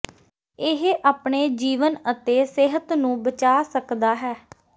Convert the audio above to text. ਇਹ ਆਪਣੇ ਜੀਵਨ ਅਤੇ ਸਿਹਤ ਨੂੰ ਬਚਾ ਸਕਦਾ ਹੈ